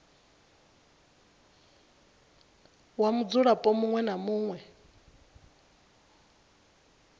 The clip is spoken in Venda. wa mudzulapo muṅwe na muṅwe